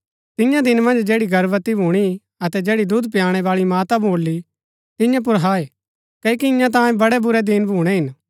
तियां दिन मन्ज जैड़ी गर्भवती भूणी अतै जैड़ी दुध पयाणै बाळी माता भोली तियां पुर हाय क्ओकि ईयां तांयें बड़ै बुरै दिन भूणै हिन